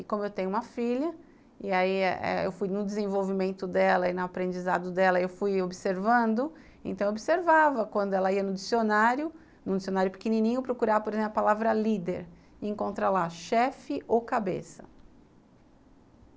E como eu tenho uma filha, e aí eu fui no desenvolvimento dela e no aprendizado dela, eu fui observando, então observava quando ela ia no dicionário, num dicionário pequenininho, procurar, por exemplo, a palavra líder, e encontra lá chefe ou cabeça.